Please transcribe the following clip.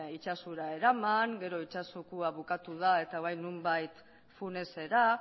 itsasora eraman gero itsasokoa bukatu da eta bai nonbait funesera